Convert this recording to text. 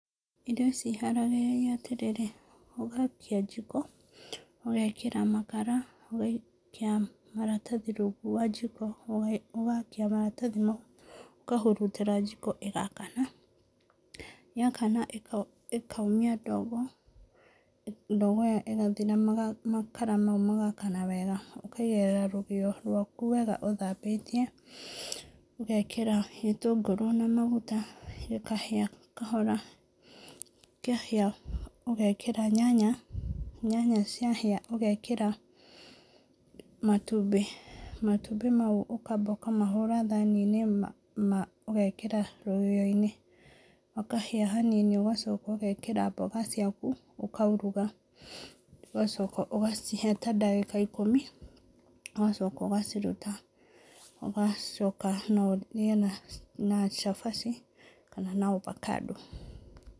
Irio ici iharagĩrĩrio atĩrĩrĩ, ũgakia jiko, ũgekĩra makara ũgaikia maratathi rungu rwa jiko, ũgakia maratathi mau ũkahutĩra jiko ĩgakana, yakana ĩkaumia ndogo, ndogo ĩyo ĩgathira makara mau magakana wega, ũkaigĩrĩra rũgĩo rwaku wega ũthambĩtie ũgekĩra gĩtũngũrũ na maguta gĩkaĩa kahora na maguta, kĩahĩa ũgekĩra nyanya , nyanya cia hĩa ũgekĩra matumbĩ, matumbĩ may ũkamba ũkamahũrĩra thani-inĩ ĩmwe ũgekĩra rũgĩo-inĩ makahĩa hanini ũgacoka ũgekĩra mboga ciaku ũkauruga, ũgacoka ũgacihe ndagĩka ta ikũmi ũgacoka ũgaciruta, na ũgacoka no ũrĩe na cabaci kana na avocado.